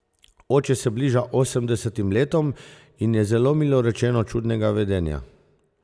Oče se bliža osemdesetim letom in je, zelo milo rečeno, čudnega vedenja.